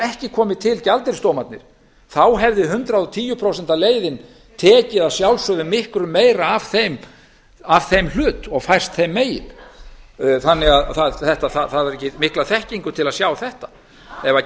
ekki komið til gjaldeyrisdómarnir hefði hundrað og tíu prósenta leiðin tekið að sjálfsögðu miklu meira af þeim hlut og fært þeim megin það þarf ekki mikla þekkingu til að sjá þetta ef